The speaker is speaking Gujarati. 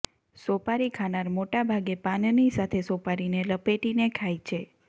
સોપારી ખાનાર મોટાભાગે પાનની સાથે સોપારીને લપેટીને ખાય છે